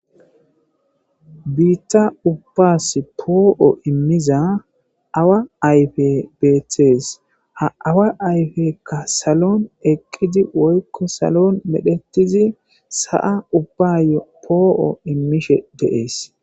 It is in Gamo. Biitta ubbas poo7o immiza awa ayfe beeththees ha awa ayfekka salon eqqidi woykko salon medhetizi sa'a ubbayo poo'o immishe des.